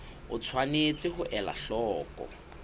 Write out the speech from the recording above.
o tshwanetse ho ela hloko